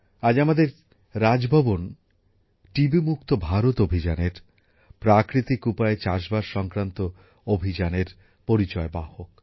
আজ আমাদের রাজভবন টিবি মুক্ত ভারত অভিযানের প্রাকৃতিক উপায়ে চাষবাস সংক্রান্ত অভিযানের পরিচয়বাহক